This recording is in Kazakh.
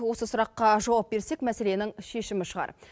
осы сұраққа жауап берсек мәселенің шешімі шығар